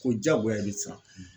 Ko diyagoya i bɛ siran.